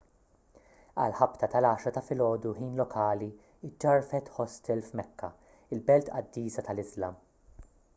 għal ħabta tal-10 ta' filgħodu ħin lokali ġġarfet ħostel f'mekka il-belt qaddisa tal-iżlam